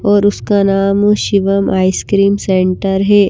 और उसका नाम शिवम आइसक्रीम सेंटर है।